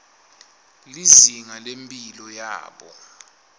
lizinga lemphilo yabo